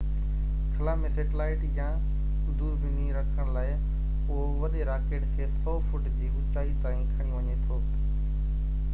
خلا ۾ سيٽلائيٽ يا دوربيني رکڻ لاءِ اهو وڏي راڪيٽ کي 100 فٽ جي اوچائي تائين کڻي وڃي ٿو